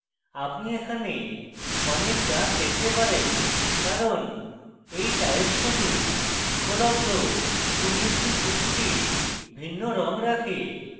আপনি এখানে অনেক দাগ দেখতে পারেন কারণ you টায়েল্স শুধু উপলব্ধ 256 টি ভিন্ন রঙ রাখে